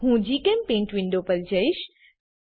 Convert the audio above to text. હું જીચેમ્પેઇન્ટ વિન્ડો પર જઈશ